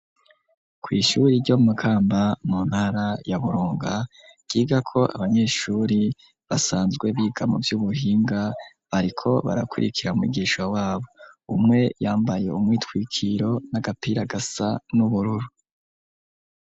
Kw'ishure ry' Imakamba, mu ntara ya Burunga, ryigako abanyeshure basanzwe biga muvy'ubuhinga, bariko barakurikira mwigisha wabo. Umwe yambaye umwitwikiro n'agapira gasa n'ubururu.